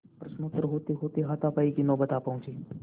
प्रश्नोत्तर होतेहोते हाथापाई की नौबत आ पहुँची